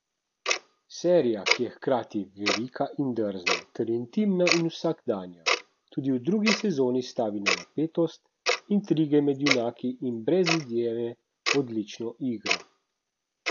Serija, ki je hkrati velika in drzna ter intimna in vsakdanja, tudi v drugi sezoni stavi na napetost, intrige med junaki in brez izjeme odlično igro.